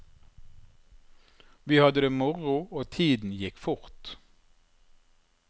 Vi hadde det moro og tiden gikk fort.